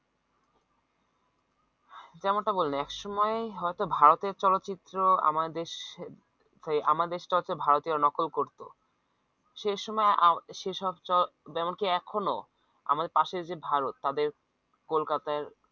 যেমনটা বললে একসময় হয়তো ভারতের চলচ্চিত্র আমার দেশ আমার দেশটা হচ্ছে ভারতের নকল করত সে সময়ে সে সব যেমন কি এখনো আমাদের পাশের যে ভারত তাদের কলকাতার